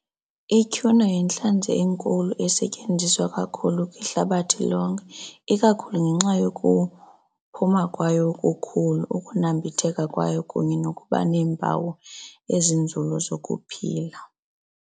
Ityhuna yintlanzi enkulu esetyenziswa kakhulu kwihlabathi lonke ikakhulu ngenxa yokuphuma kwayo okukhulu, ukunambitheka kwayo kunye nokuba neempawu ezinzulu zokuphila.